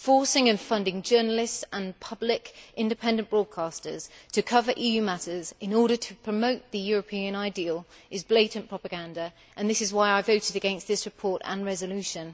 Forcing and funding journalists and public independent broadcasters to cover EU matters in order to promote the European ideal is blatant propaganda, and this is why I voted against this report and resolution.